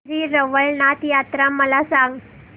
श्री रवळनाथ यात्रा मला सांग